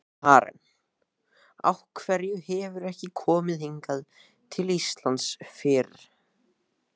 Karen: Af hverju hefurðu ekki komið hingað til Íslands fyrr?